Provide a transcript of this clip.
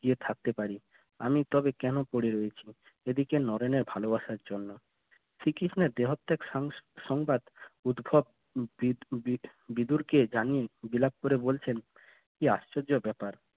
গিয়ে থাকতে পারি আমি তোকে কেন পড়ে রয়েছি এদিকে নরেনের ভালোবাসার জন্য হয়ে দেহত্যাগ সং~ সংবাদ উদ্ভব বি~ বি~ বিদুরকে জানে বিলাপ করে বলছেন কি আশ্চর্য ব্যাপার